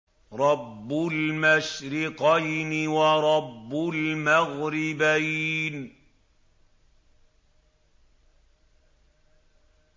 رَبُّ الْمَشْرِقَيْنِ وَرَبُّ الْمَغْرِبَيْنِ